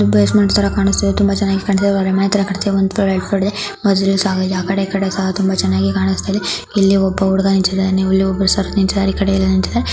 Basement ಥರಾ ಕಾಣಿಸ್ತಾಯಿದೆ. ತುಂಬಾ ಚೆನ್ನಾಗಿ ಕಾಣಿಸ್ತಾಯಿದೆ ಅವ್ರ ಮನೆ ಹತ್ತಿರ ಕಟ್ಟಿರ ಒಂದ್ ಫ್ಲೋರ್ ಎರಡ್ ಫ್ಲೋರ್ ಇದೆ. ಆ ಕಡೆ ಈ ಕಡೆ ಸಹಾ ತುಂಬಾ ಚೆನ್ನಾಗಿ ಕಾಣಿಸ್ತಿದೆ. ಇಲ್ಲಿ ಒಬ್ಬ ಹುಡುಗ ನಿಂತಿದ್ದಾನೆ. ಇಲ್ಲಿ ಒಬ್ಬರು .]